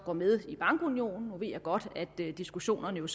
går med i bankunionen nu ved jeg godt at diskussionerne